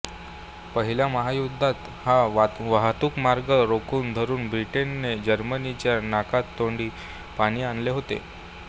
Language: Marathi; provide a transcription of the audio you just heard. पहिल्या महायुद्धात हा वाहतूकमार्ग रोखून धरुन ब्रिटनने जर्मनीच्या नाकीतोंडी पाणी आणले होते